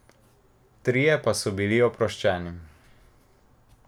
Trije pa so bili oproščeni.